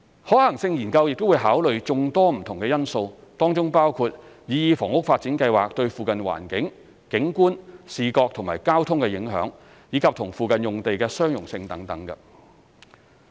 可行性研究會考慮眾多不同的因素，當中包括擬議房屋發展計劃對附近環境、景觀、視覺及交通的影響，以及與附近用地的相容性等。